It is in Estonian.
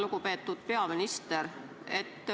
Lugupeetud peaminister!